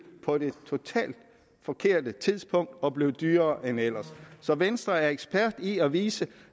på det totalt forkerte tidspunkt og blev dyrere end ellers så venstre er ekspert i at vise